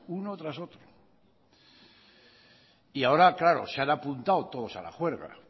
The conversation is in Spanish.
uno tras otro y ahora claro se han apuntado todos a la juerga